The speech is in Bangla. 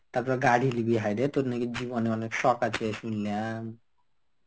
তারপর গাড়ি লিবি হায়রে তোর নাকি জীবনে অনেক শখ আছে শুনলাম.